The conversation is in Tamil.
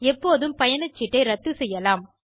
எப்போதும் பயணச்சீட்டை ரத்து செய்யலாம்